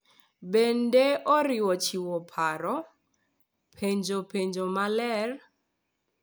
Bende oriwo chiwo paro, penjo penjo maler,